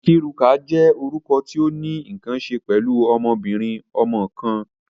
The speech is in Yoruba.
Nkiruka jẹ orukọ ti o ni nkan ṣe pẹlu ọmọbirin-ọmọ kan.